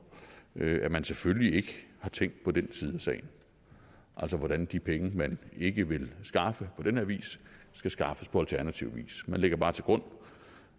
at man selvfølgelig ikke har tænkt på den side af sagen altså hvordan de penge man ikke vil skaffe på den her vis skal skaffes på alternativ vis man lægger bare til grund